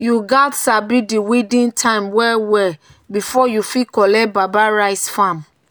"you gats sabi di weeding time well well before you fit collect baba rice farm.”